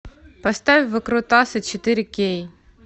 поставь выкрутасы четыре кей